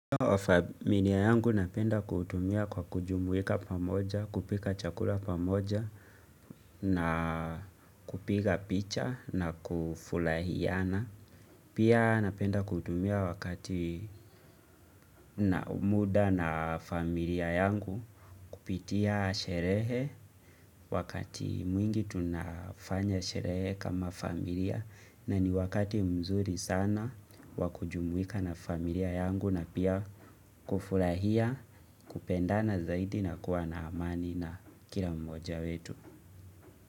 Familia yangu napenda kuutumia kwa kujumuika pamoja, kupika chakula pamoja na kupiga picha na kufurahiana. Pia napenda kutumia wakati na muda na familia yangu kupitia sherehe wakati mwingi tunafanya sherehe kama familia. Na ni wakati mzuri sana wa kujumuika na familia yangu na pia kufurahia kupendana zaidi na kuwa na amani na kila mmoja wetu.